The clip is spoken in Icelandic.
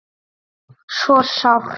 Svo sárt.